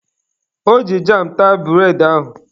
O ji jam taa bụredị ahụ.